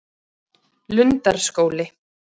Lundarskóli